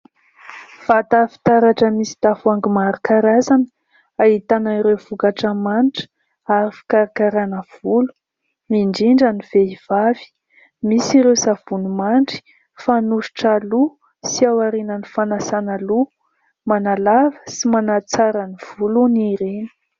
Vata fitaratra misy tavoahangy maro karazana, ahitana ireo vokatra manitra ary fikarakarana volo, indrindra ny vehivavy. Misy ireo savony mandry fanosotra loha sy aorian'ny fanasana loha, manalava sy manatsara ny volony ireny.